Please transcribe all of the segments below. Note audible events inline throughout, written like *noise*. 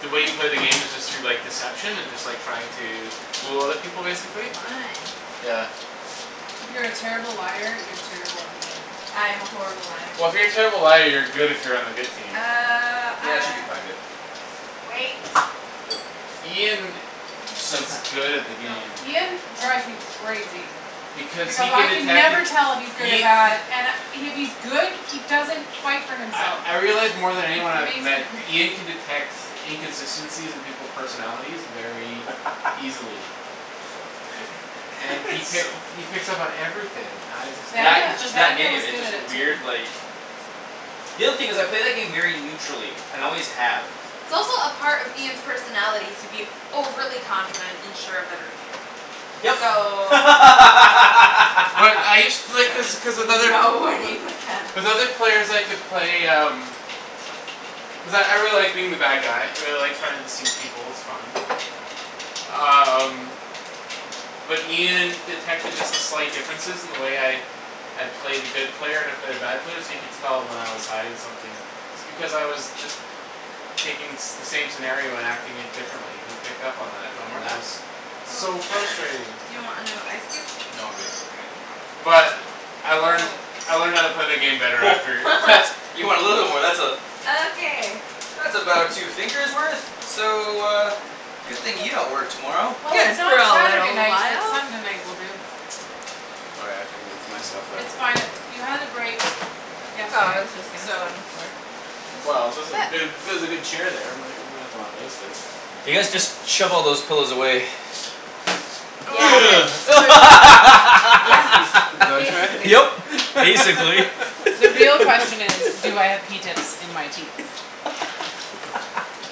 the way you play the game is just through, like, deception and just, like, trying to fool other people, basically. Fun. Yeah. If you're a terrible liar, you're terrible at the game. I am a horrible liar. Well, if you're a terrible liar you're good if you're on the good team. Uh, Yeah, it should ah be fine, babe. Wait. She'll be okay. Ian s- is good at the *inaudible* Go, game. Ian go. drives me crazy. Because he Because can I can detect it, never tell if he's good or Ia- bad and I, if he's good, he doesn't fight for I, himself. I realize more than It anyone I've makes me met cra- Ian can detect inconsistencies in people's personalities very *laughs* easily. And *laughs* he pick- So he picks up on everything; I just can't That, Danie- it's just that Daniel game, is it's good at just a it too. weird, like The other thing is, I play that game very neutrally and always have. It's also a part of Ian's personality to be overly confident and sure of everything. Yep. So But I *laughs* used to, like, cuz, cuz with there's other, no winning with him. with with other players I could play um cuz I, I really like being the bad guy. I really like trying to deceive people; it's fun. Um But Ian detected just the slight differences in the way I I play the good player and I play the bad player so you could tell when I was hiding something. It's because I was just taking the same scenario and acting it differently. He picked up on Do that, you want more and on that that? was Oh, So sure, frustrating. do you want another ice cube? No, I'm good. All right. Mkay. But *inaudible* I learned, Oh. I learned how to play the *noise* game better after. What. *laughs* You want a little war, that's a Okay. that's about two fingers worth. So *noise* uh Good thing you don't work tomorrow. Well, Good it's for not a Saturday little night but while. Sunday night will do. Oh, yeah, I can move my stuff It's there. fine; you had the break Oh, I yesterday, was just gonna sit so. on the floor. Well, there's a, But ther- there's a good chair there; we may, we may as well not waste it. You guys just *inaudible* shove all those pillows away. Yeah. *noise* So where Yeah, That's, is, is *laughs* basically. that Yep. what you Basically. The real meant? question *laughs* is, do I have *laughs* pea tips in my teeth? *laughs*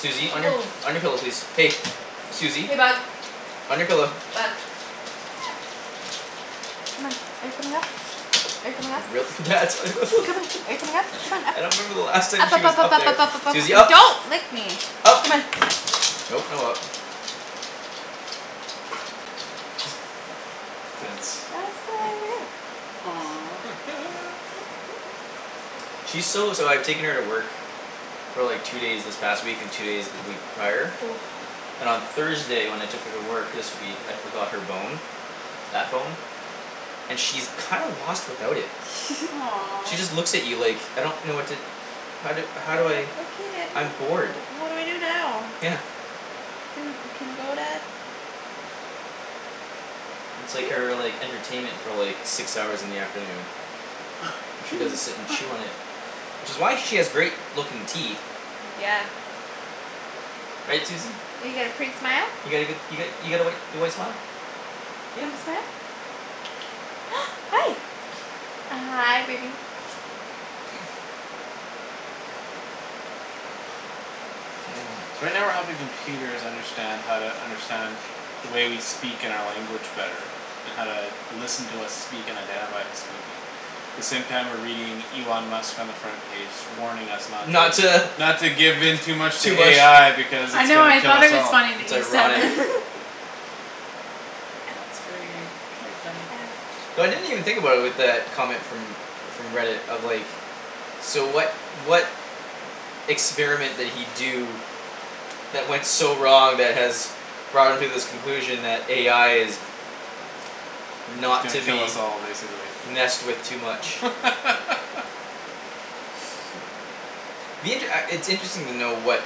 Susie, on your, Woah. on your pillow, please. Hey. Susie, Hey, bug. on your pillow. Bug. Come on. Are you coming up? Are you coming up? *inaudible* Come on, are you coming up? *laughs* Come on, up. I don't remember the last time Up, she up, was up, up, up up, there. up, up, up, up, Susie, up. up. Don't lick me. up. Come on. Nope, no up. *noise* Fence. I'll sit right over here. She's so, so I've taken her to work for like two days this past week and two days the week prior Oh. and on Thursday when I took her to work this week, I forgot her bone that bone and she's kinda lost without it. *laughs* She Aw. just looks at you like "I don't know what to how do, how do I "Oh, okay, dad, what I'm bored." d- what do I do now?" Yeah. "Can, can we go, dad?" It's like her, like, *noise* entertainment for, like six hours in the afternoon. All she does is sit *laughs* and chew *noise* on it. Which is why she has great looking teeth. Yeah. Right, Susie? You got a pretty smile. You got a good, you got, you got a white, your white smile? Yeah. Can you smile? *noise* Hi. Hi, baby. *noise* So right now we're helping computers understand how to understand the way we speak and our language better and how to listen to us speak and identify who's speaking the same time we're reading Elon Musk on the front page warning us not Not to to not to give in too much to Too much AI because I it's know, gonna I kill thought us it was all. funny that It's you said ironic. that. *laughs* That's gra- very funny. Ouch. So I didn't even think about it with that comment from from Reddit of, like So what, what experiment did he do that went so wrong that has brought him to this conclusion that AI is He's not gonna to kill us be all, basically. messed with too much. *laughs* Me, it, uh, it's interesting to know what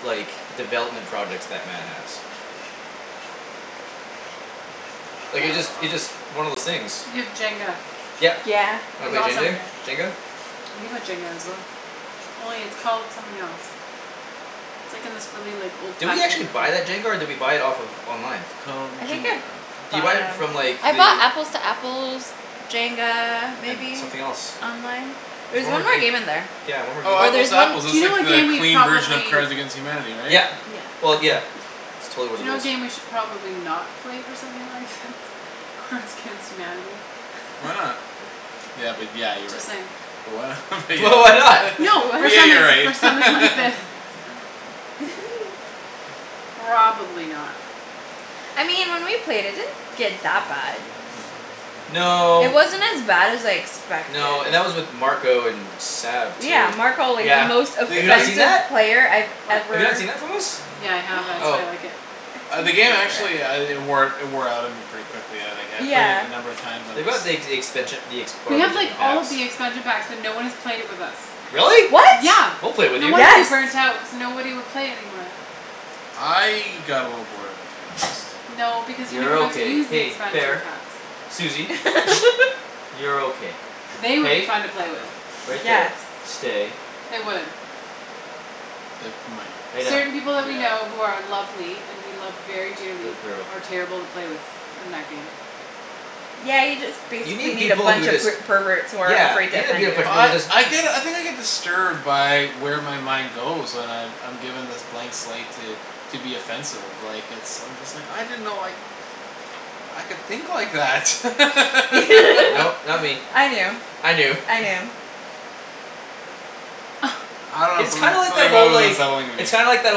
like, development projects that man has. I Like, it just, don't it know. just, one of those things. You have Jenga. Yep. Yeah. Wanna That's play Jendar, awesome. Jenga? We have Jenga as well. Only it's called something else. It's, like, in this really, like, Did we old-fashioned actually looking buy that jenga or did we buy it off of online? Called I think I Jinga. Did you bought buy it it on- from, like, I bought the Apples to Apples Jenga, And maybe something else. online. There There's was one more one more game game. in there. Yeah, one more game Oh, we Or Apples there's bought. to one Apples, Do that's you know like what the game we clean version of probably Cards against Humanity, right? Yeah, Yeah. well, yeah. It's totally what Do you it know what is. game we should probably not play with something like thi- *laughs* Cards against Humanity. Why not? *laughs* Yeah, but yeah, you're Just right. saying. But why not *laughs* but But why yeah, not? yeah. *laughs* No, What? But for yeah, something, you're right. for something *laughs* like this. *laughs* Probably not. I mean when we played it, it didn't get that bad. It No. wasn't as bad as I expected. No, and that was with Marco and Sab Yeah, too, Marco, like, the yeah. most They, Have you not they seen offensive that? played I've What? Have you not ever seen that from us? Yeah, I have. That's why Oh. I *noise* like it. Ah, the game actually uh it wore, it *inaudible* wore out on me pretty quickly. But yeah, like, I, I've played it Yeah. a number of times on They this got the ex- expansion, the ex- We part of have, like, different all packs. the expansion packs but no one has played it with us. Really? What? Yeah, We'll play with no you. wonder you Yes. burnt out cuz nobody would play it anymore. I got a little bored of it, to be honest. No, because you You're never got to okay. use the Hey, expansion fair. packs. Susie. *laughs* You're okay. They would be Hey, fun to play with. right Yes. there, stay. They would. They might. Lay down. Certain people that we know Yeah. who are lovely and we love very dearly Good girl. are terrible to play with in that game. Yeah, you just You basically need need a people who bunch of just per- perverts who aren't Yeah. afraid to offend you. Well, I, *inaudible* I get, I think I get disturbed by where my mind goes when I've, I'm given this blank slate to to be offensive, like, it's, I'm just like, "I didn't know, like I could think like that." *laughs* Nope, not me. *laughs* I knew. I I knew. knew. *noise* I don't know It's something, kind like something that, about it whole, was like unsettling to me. It's kinda like that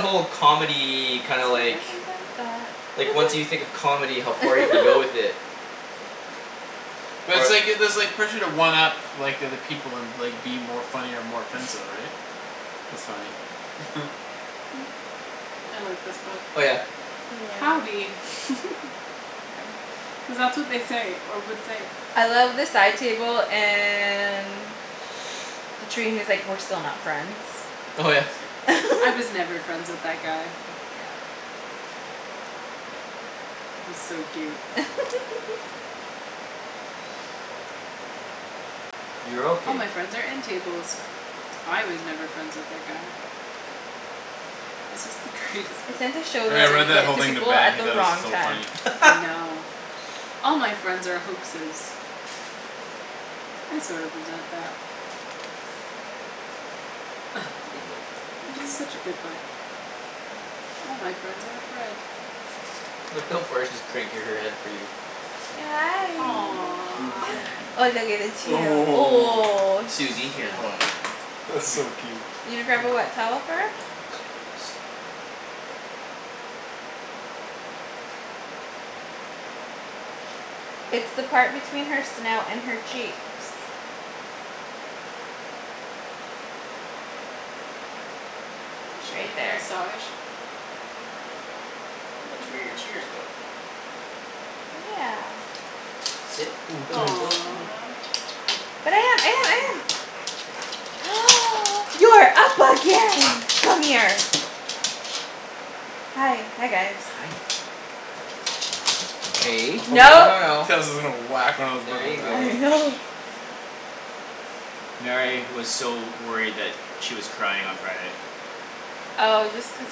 whole comedy, kinda like like, *inaudible* once you think of comedy, how far you can go with *laughs* it. But it's Or like, it, there's like pressure to one up like, the other people and, like, be more funny or more offensive, right? That's funny. *laughs* *noise* I like this book. Oh, yeah. Howdy. Yeah. *laughs* *inaudible* Cuz that's what they say, or would say. I love the side table and *inaudible* he was, like, "We're still not friends." Oh, yeah. "I was never *laughs* friends with that guy." Yeah. He's so cute. *laughs* You're "All my okay. friends are end tables." "I was never friends with that guy." This is the greatest I book. tend to show Yeah, I that read Dang it. that book whole to thing to people Ben; at he the thought it was wrong so time. funny. I *laughs* know. "All my friend are hoaxes." I sort of resent that. Ah. Read a book. It's such a *noise* good book. "All my friend are." *inaudible* Look how far she's cranking her head for you. Hi. Aw. Oh, *inaudible* oh, oh. Susie, Oh, here, hold on. That's Come here. so Susie. cute. You gonna grab a wet towel for her? I'm just gonna do this. It's the part between her snout and her cheeks. Is she Right getting a there. massage? That's where your tears go. Yeah. Sit. Oh, thanks. *inaudible* Hi. Aw. Hi. But I am, I am, I Hi. am. *noise* You're up again! Come here. Hi, hi, guys. Hi. Hey, Oh no, No. no, *laughs* no. Kara's, was gonna whack one of the There you ribbons out. I go. know. *noise* Mary was so worried that she was crying on Friday. Oh, just cause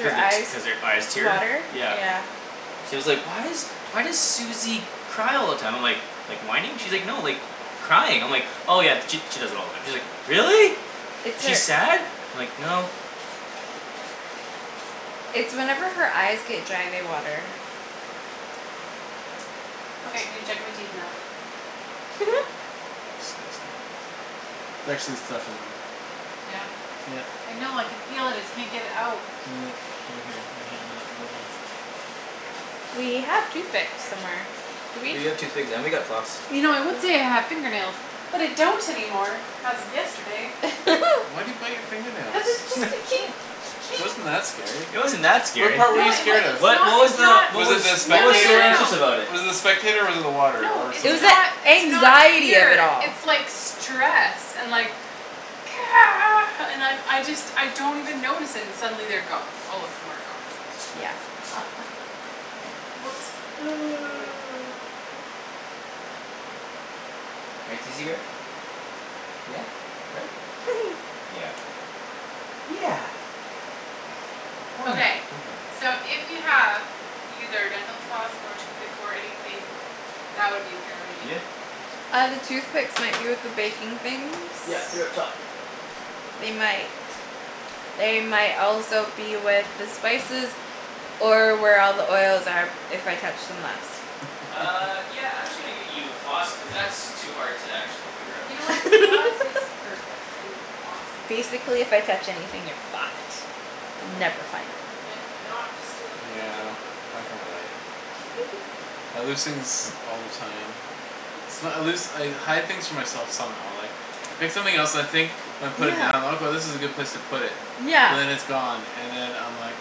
Cuz the t- eyes cuz her eyes tear, water? Yeah. yeah. She was like, "Why is, why does Susie cry all the time?" I'm like "Like whining?" She's like, "No, like crying." I'm like "Oh, yeah, she, she does that all the time." She's like, "Really? It's Is she her sad?" I'm like, "No." It's whenever her eyes get dry they water. Okay, can you check my teeth now? *laughs* Disgusting. There's actually stuff in them. Yeah. Yep. I know, I could feel it; just can't get it out. Yeah, over here, right here in that *inaudible* We have toothpicks somewhere, do we? We have toothpicks, and we got floss. You know I would Yeah. say I have fingernails, but I don't anymore as of yesterday. Wh- *laughs* why do you bite your finger nails? Cuz it just a ke- *laughs* It ke- wasn't that scary. It wasn't that What scary. part were No, you it wa- scared of? it's What, not, what was it's the, not what Was it was the what No, was no, so no, spectator? no, anxious no. about it? Was it the spectator or was it the water No, or It it's something was else? the not, it's not anxiety of it fear. all. It's like stress and like *noise* and I'm, I just, I don't even notice, and suddenly they're gone; all of them are gone. Yeah. *laughs* W- whoops. *noise* *noise* Right, Susie bear? Yeah. Right? *laughs* Yeah. Yeah. Oh, yeah. Okay. *inaudible* So if you have either dental floss or toothpick or anything that would be great. Yeah. Uh, the toothpicks might be with the baking things. Yeah, they're up top. They might They might also be with the spices or where all the oils are if I touched them last. Uh, *laughs* yeah, I'm just gonna get you floss cuz that's too hard to actually figure out. You know what, *noise* floss is *laughs* perfect and awesome and great. Basically if I touch anything you're fucked. You'll never find it. And I did not just steal a piece of Yeah, chicken off this. I can relate. *laughs* I lose things all the time. It's not, I lose, I hide things from myself some how, like I pick something else and I think and I put it Yeah. down, "Okay, this is a good place to put it." But Yeah. then it's *noise* gone and then I'm like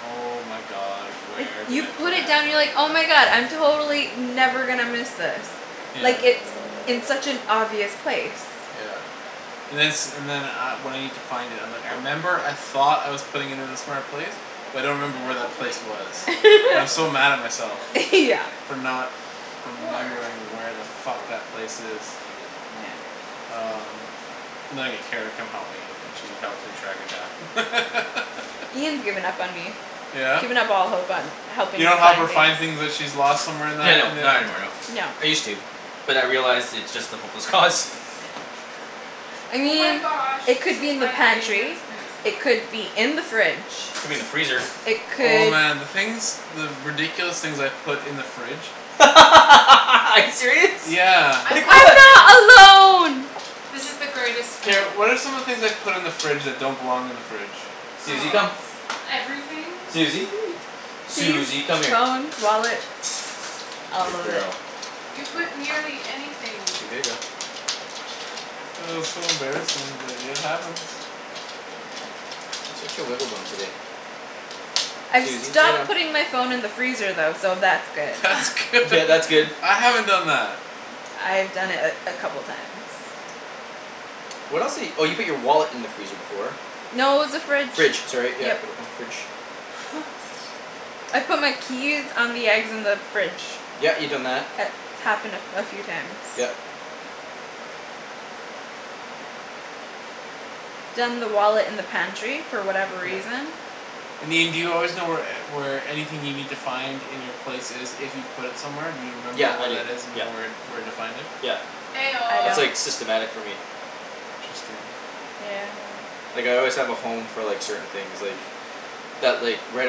"Oh, my god, Like, where did you I put put And I it it?" have down and no you're idea like, where "Oh, our my floss god, went I'm to. totally never gonna miss this." Hmm. Yeah. Like, it's in such an obvious place. Yeah. And then it's, and then uh when I need to find it I'm like, "I remember I thought I was putting it in a smart place That's cool; but I don't You you've remember may like where have to that aqua place wait. color. You was." may *inaudible* have to wait And I'm so till mad at we're myself done *laughs* this Yeah. session. for not Or remembering you could where the use a fuck fork. that place is. You could. Yeah. Just don't stab Um yourself too much. And then I get Kara to come help me and she helps me track it K. down. *laughs* Ian's given up on me. He's Yeah? given up all hope on You helping me don't help her find things. find things that she's lost somewhere in Yeah, that, and no, then not anymore, no. No. I used to. But I realized it's just a hopeless cause. I Oh my mean, gosh, it this could is be in the my favorite pantry. spoon. It could be Could be in the fridge. in the freezer. It Oh, could man, the things the ridiculous things I've put in the fridge. *laughs* Are you serious? Yeah. I Like love what? this. I'm not alone. This is the greatest Kara, spoon. what are some of the things I've put in the fridge that don't belong in the fridge? Susie, come. Oh, everything. Susie. *noise* Keys, Susie, come here. phones, wallets. All Good of it. girl. You put nearly anything. *inaudible* Oh, so embarrassing but it happens. Yeah. You're such a wiggle bum today. I've Susie, lay stopped down. putting my phone in the freezer though, so that's good. That's *laughs* good. Yeah, that's good. *laughs* I haven't done that. I've done it *noise* a, a couple times. What else di- oh, you put your wallet in the freezer before. No, it was the fridge, Fridge, sorry, yep. yeah, uh, fridge. *laughs* I've put my keys on the eggs in the fridge. Yeah, you've done that. It's happened a, a few times. Yep. Done the wallet in the pantry for whatever Yeah. reason. I mean, do you always know where e- where anything you need to find in your place is if you put it somewhere? Do you remember Yeah, I where do, that is and you yeah. know where, where to find it? Yeah. Eh I That's, don't. oh. like, systematic for me. Interesting. Yeah, I know. Like, I always have a home for, like, certain things, like that, like, right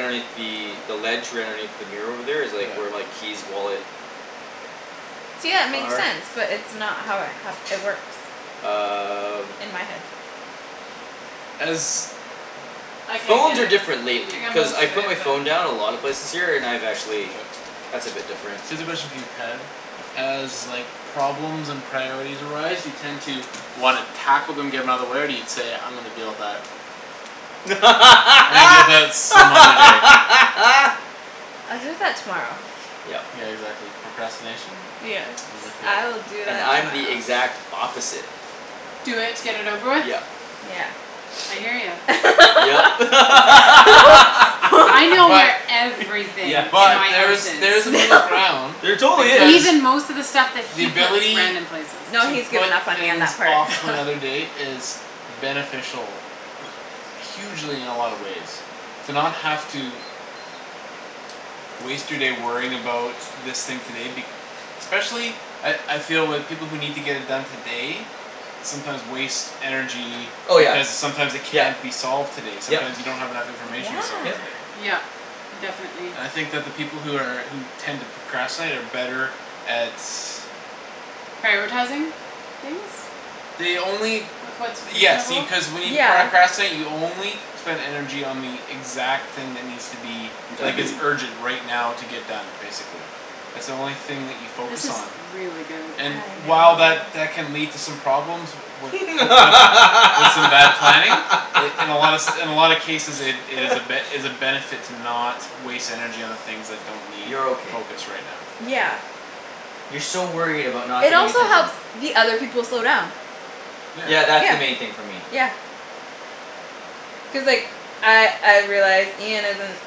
underneath the the ledge right underneath the mirror over there is, Yeah. like, where my keys, wallet See, yeah, it makes are. sense but it's not how it happ- it works. Um In my head. As I can't Phones get are it. different I lately got cuz most I of put it, my but. phone down a lot of places here, and I've actually That's a Okay. bit different. Cuz especially, for you, Ped as, like problems and priorities arise you tend to wanna tackle them, get 'em outta the way, or do you say "I'm gonna deal with that" "I'm gonna deal with that some other day." *laughs* I'll do that tomorrow. Yep. Yeah, exactly. Procrastination. Yes, I'm with ya. I'll do And that I'm the tomorrow. exact opposite. Do it to get it over with? Yep. Yeah. I hear ya. Yep. I know *laughs* But where *laughs* *laughs* everything in but my house Yeah, there's, she is. there's a middle No. ground. *laughs* There totally Cuz is. Even most of the stuff that the he puts ability random places. No, to he's put given up on me on things that part. off to another day is beneficial *noise* hugely in a lot of ways to not have to waste your day worrying about this thing today be- especially at, I feel with people who need to get it done today sometimes waste energy Oh, yeah. because sometimes it Yep, can't be solved today. Sometime yep. you don't have enough Yeah. information to solve it Yep. today. Yep, definitely. I think that the people who are, who tend to procrastinate are better at Prioritizing things They only with what's Yes, see, reasonable. cuz when you Yeah. pracrastinate, you only spend energy on the exact thing that needs to be like, Done. is urgent *noise* right now to get done, basically. That's the only thing that you focus This is on. really good. And *noise* I while know. that that can lead to some problems with, wi- with, with some bad planning in, in a lot se- *laughs* in a lot of cases it, it is a *noise* ben- is a benefit to not waste energy on the things that don't need You're okay. focus right now, so. Yeah. You're so worried about not It getting also attention. helps the other people slow down. Yeah. Yeah, that's the Yeah. main thing for me. Yeah. Cuz, like, I, I've realized Ian isn't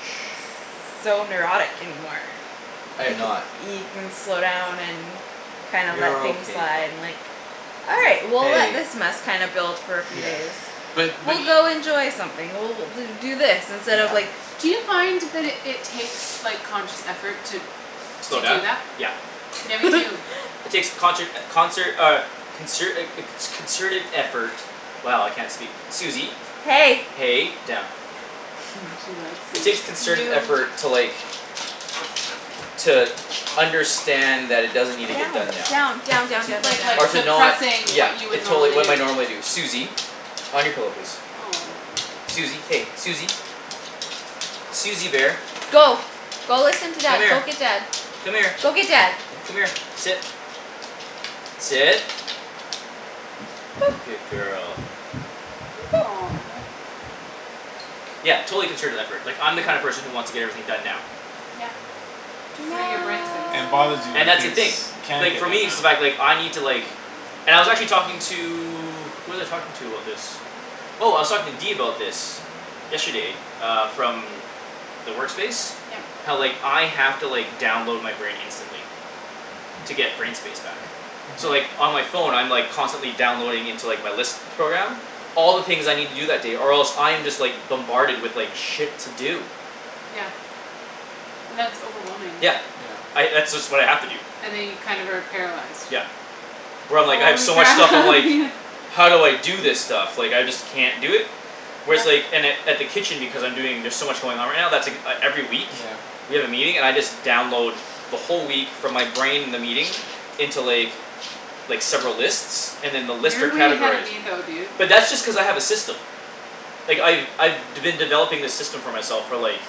Shh. so neurotic anymore. I am It ca- not. he can slow down and kinds let You're things okay, pup. and, like "All right, Yeah. we'll let Hey. this mess kinda build for a few Yeah. days." Shh. But, but "We'll e- go enjoy something, we'll do do this instead of, Yeah. like" Do you find that it, it takes, like, conscious effort to Slow to do down? that? Yeah. Yeah, me too. *laughs* It takes conshert, concert, uh consert a, a co- concerted effort. Wow, I can't speak. Susie. Hey. Hey, down. *laughs* She likes It you. takes concerted Yo. effort to, like to understand that it doesn't need to get Down, done now. down, down, down, Do yo- down, down, like, like, Or to down. not, suppressing yeah. what you would It totally, normally what do. my normally do. Susie. On your pillow, please. Aw. Susie, hey, Susie. Susie bear. Go. Go listen to Come dad, go here. get dad. Come here. Go get dad. Come here, sit. Sit. *noise* Good girl. *noise* Aw. Yeah, totally concerted effort. Like, I'm the kind of Yeah. person who wants to get everything done now. Yeah. To free your No. brain space. And it bothers you when And that's the things thing. can't Like, get for done me now. it's the fact, like, I need to, like And I was actually talking to Who was I talking to about this? Oh, I was talking to D about this. Yesterday, uh, from the work space Yep. how, like, I have to, like, download my brain instantly. To get brain space back. So, Mhm. like, on my phone, I'm, like, constantly downloading into, like, my list program all the things I need to do that day or else I'm just, like bombarded with, like, shit to do. Yeah. And that's overwhelming. Yeah. Yeah. I, that's just what I have to do. And then you kind of are paralyzed. Yep. Where I'm, like, I have Holy so much stuff I'm crap *laughs* like Ian. "How do I do this stuff? Like I just can't do it." Whereas, Yeah. like, in at, at the kitchen Because I'm doing, there's so much going on right now, that's ek- every week. Yeah. We have a meeting, and I just download the whole week from my brain the meeting into, like like, several lists and then the list You're are way ahead of categorized. me though, dude. But that's just cuz I have a system. Like, I've, I've d- been developing this system for myself for, like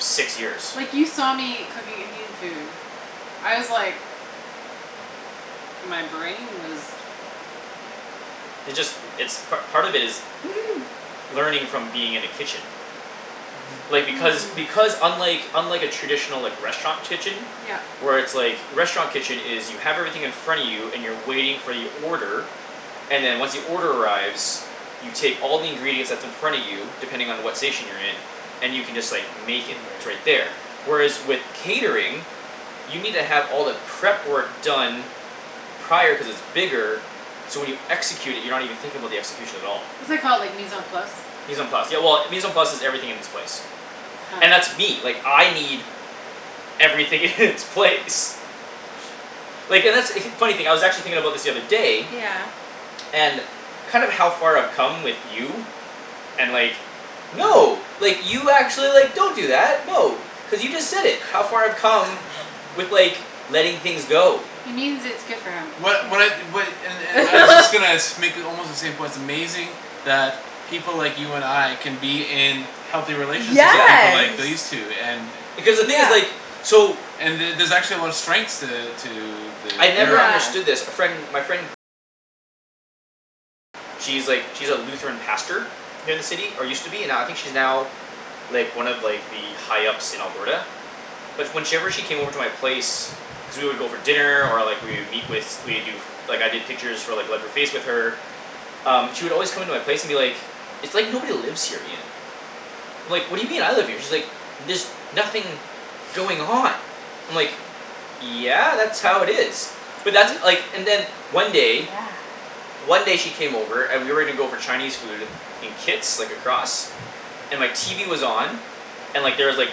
six years. Like you saw me cooking Indian food. I was like My brain was It just, it's part, part of it is *laughs* learning from being in a kitchen. Mhm. Like, because, Hmm. because unlike unlike a traditional, like, restaurant kitchen Yep. where it's, like, a restaurant kitchen is you have everything in front of you and you're waiting for your order and then once the order arrives you take all the ingredients that's in front of you depending on what station you're in and you can just, like, make it, it's right Right. there. Whereas with catering you need to have all the prep work done prior cuz it's bigger so when you execute it, you're not even thinking about the execution at all. What's that called, like, mise en place? Mise en place, yeah, well, mise en place is "everything in its place." Huh. And that's me. Like, I need everything in its place. Like, and that's, funny thing I was actually thinking about this the other day Yeah. and kind of how far I've come with you and like, no like, you actually, like, don't do that. No, cuz you just said it, how far I've come *laughs* with, like, letting things go. He means its good for him. What, what I, what, and, and I was just *laughs* gonna sh- make almost the same point; it's amazing that people like you and I can be in healthy relationships with people like Yeah. Yes, these two and Because the thing is, yeah. like so and the- there's actually a lot of strengths to, to the I'd never pairing. Yeah. understood this. A friend, my friend she's, like, she's a Lutheran pastor here in the city, or used to be, now, I think she's now like, one of, like, the high ups in Alberta. But when she ever, she came over to my place cuz we would go for dinner, or, like, we would meet with, we'd do like, I did pictures for, like *inaudible* with her um, she would always come into my place and be like "It's like nobody lives here, Ian." I'm like, "What do you mean? I live here." And she's like "There's nothing going on." I'm like "Yeah, that's how it is." But that's, like, and then one day *inaudible* Yeah. one day she came over and we were gonna go for Chinese food in Kits, like, across. And my TV was on. And, like, there was, like,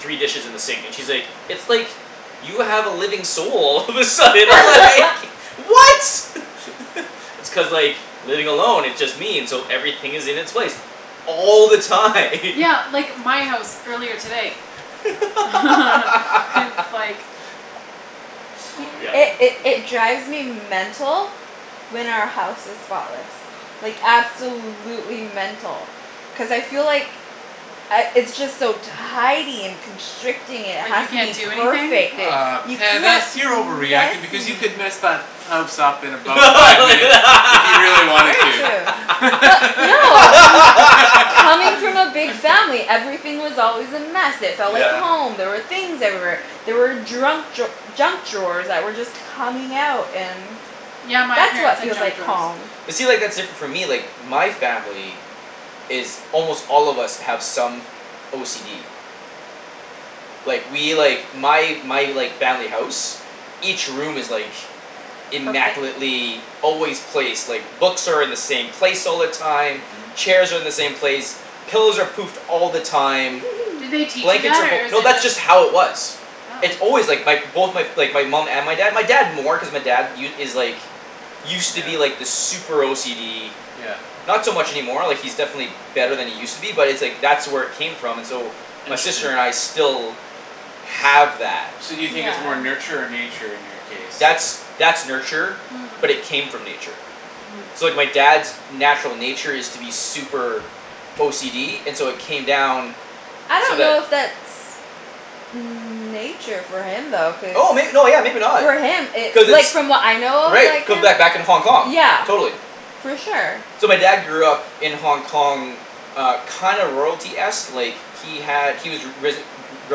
three dishes in the sink, and she's like, "It's like you have a living soul." *laughs* All of a sudden I *laughs* was like "What?" *laughs* It's cuz, like, living along it just means so everything is in its place all the time. Yeah, *laughs* like, my house earlier today. *laughs* It's *laughs* like Oh, It, okay. Yep. it, it drives me mental when our house is spotless. Like, absolutely mental. Cuz I feel like I, it's just so tidy and constricting, it Like has you to can't be do anything? perfect, it, Ah, you Ped, can't that's, be you're over reacting because you messy. could mess that house up in about five minutes if you really wanted Very to. true. But no. Coming *laughs* from a big *laughs* family, everything was always a mess, it felt like Yeah. Yep. home, there were things everywhere. There were drunk draw- junk drawers that were just coming out and Yeah, my that's parents what had feels junk like drawers. home. But see, like, that's different for me, like my family is almost all of us have some OCD. Like, we, like my, my, like, family house each room is, like Perfect. immaculately always placed, like, books are in the same place all the time Mhm. chairs are in the same place pillows are poofed all the time Did they *laughs* teach you blankets that are fol- or is No, it that's just just how it was. It's Oh. always, like, my both, my, like, my mom and my dad, my dad more cuz my dad u- is like used to be, Yeah. like, this super OCD Yeah. not so much any more, like, he's definitely Yeah. better than he used to be, but it's like that's where it came from, and so my sister and I *inaudible* still have that. So do you think Yeah. it's more nurture or nature in your case That's, that's that's nurture Hmm. but it came from nature. Hmm. So, like, my dad's natural nature is to be super OCD, and so it came down I so don't know that if that's nature for him though, cuz oh may- no, yeah, maybe not. for him it, Cuz like, it's from what I know of, Right, it like, could him, back, back in Hong Kong, yeah. totally. For sure. So my dad grew up in Hong Kong uh, kinda royalty-esque, like he had, he was ri- risen, re-